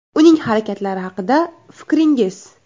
Uning harakatlari haqida fikringiz?